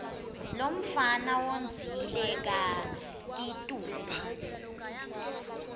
lomfana wondzile kakitulu